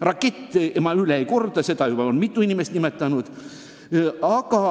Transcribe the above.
"Raketist" ma enam ei räägi, seda on juba mitu inimest nimetanud.